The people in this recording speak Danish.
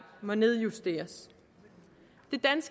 må nedjusteres